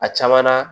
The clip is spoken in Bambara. A caman na